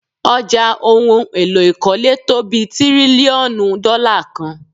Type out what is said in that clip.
Ọjà ohun èlò ìkọ́lé tó bí tírílíọ̀nù dọ́là kan.